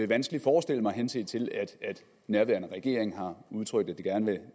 vanskeligt forestille mig henset til at nærværende regeringen har udtrykt at den gerne